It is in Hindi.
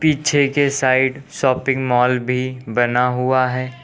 पीछे के साइड शॉपिंग मॉल भी बना हुआ है।